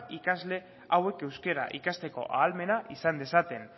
ikasle hauek euskara ikasteko ahalmena izan dezaten